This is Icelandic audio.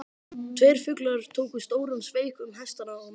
Tveir fuglar tóku stóran sveig um hestana og mennina.